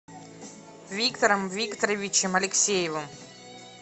виктором викторовичем алексеевым